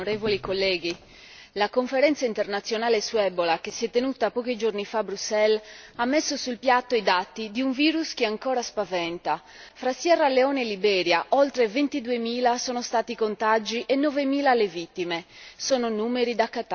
Signor Presidente, onorevoli colleghi, la conferenza internazionale sull'Ebola che si è tenuta pochi giorni fa a Bruxelles ha messo sul piatto i dati di un virus che ancora spaventa fra Sierra Leone e Liberia oltre ventiduemila sono stati i contagi e novemila le vittime.